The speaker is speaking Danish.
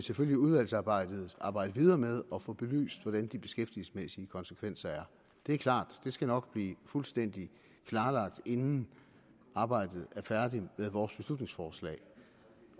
selvfølgelig i udvalgsarbejdet arbejde videre med at få belyst hvordan de beskæftigelsesmæssige konsekvenser er det er klart det skal nok blive fuldstændig klarlagt inden arbejdet med vores beslutningsforslag